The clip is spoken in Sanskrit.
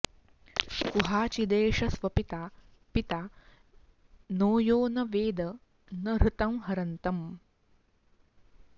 कुहाचिदेष स्वपिता पिता नो यो न वेद न हृतं हरन्तम्